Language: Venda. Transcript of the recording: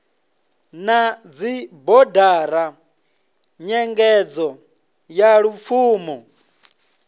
na dzibodara nyengedzo ya lupfumo